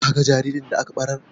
Ka ga jaririn da aka ɓarar?